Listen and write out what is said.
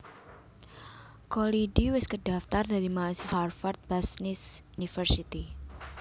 Kholidi wis kedhaftar dadi mahasiswa Harvard Business School